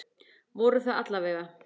Voru það alla vega.